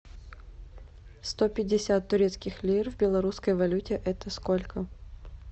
сто пятьдесят турецких лир в белорусской валюте это сколько